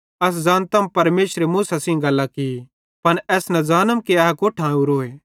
अस ज़ानतम परमेशरे मूसा सेइं गल्लां की पन एस न ज़ानम कि ए कोट्ठां ओरोए